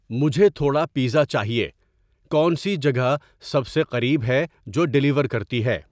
مجھے تھوڑا پیزا چاہیے کونسی جگہ سب سے قریب ہے جو ڈیلیور کرتی ہے